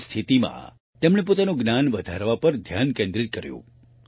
આવી સ્થિતિમાં તેણે પોતાનું જ્ઞાન વધારવા પર ધ્યાન કેન્દ્રિત કર્યું